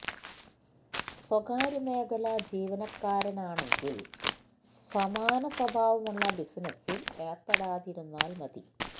സ്വകാര്യ മേഖലാ ജീവനക്കാരാണെങ്കിൽ സമാന സ്വഭാവമുള്ള ബിസിനസിൽ ഏർപ്പെടാതിരുന്നാൽ മതി